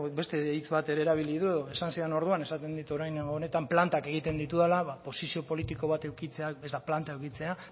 beste hitz bat ere erabili du esan zidan orduan esaten dit orain honetan plantak egiten ditudala ba posizio politiko bat edukitzea ez da planta edukitzea